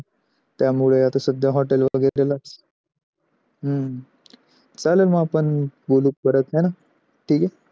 त्या मुळे आता सध्या hotel मध्ये हम्म चालेल मग आपण बोलू परत हे ना ठीक आहे